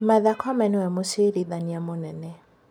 Martha Koome nĩwe mũciirithania mũnene